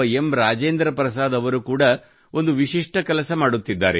ರಾಜೇಂದ್ರ ಪ್ರಸಾದ್ ಅವರು ಕೂಡಾ ಒಂದು ವಿಶಿಷ್ಠ ಕೆಲಸ ಮಾಡುತ್ತಿದ್ದಾರೆ